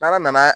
N'ala nana